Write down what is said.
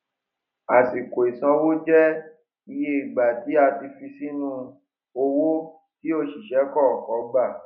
àsìkò ìsanwó jẹ iye ìgbà tí a fi sínú owó tí òṣìṣẹ kọọkan gbà